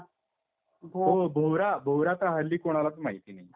हो भोवरा, भोवरा तर हल्ली कोणालाच माहिती नाहीये.